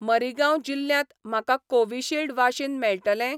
मरीगांव जिल्ल्यांत म्हाका Covishield vaccine मेळटलें?